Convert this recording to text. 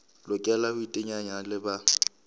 lokela ho iteanya le ba